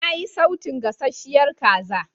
Na yi sautun gasasshiyar kaza.